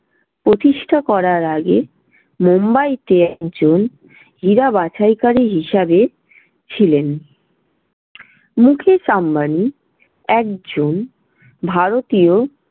প্রতিষ্ঠা করার আগে মুম্বাইতে একজন হীরা বাছাইকারী হিসাবে ছিলেন। মুকেশ আম্বানি একজন ভারতীয়